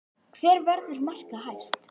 Hver verður markahæst?